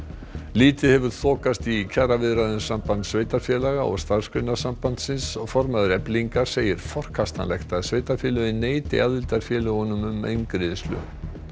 lítið hefur þokast í kjaraviðræðum Sambands sveitarfélaga og Starfsgreinasambandsins formaður Eflingar segir forkastanlegt að sveitarfélögin neiti aðildarfélögunum um eingreiðslu